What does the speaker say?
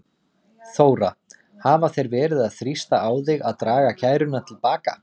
Þóra: Hafa þeir verið að þrýsta á þig að draga kæruna til baka?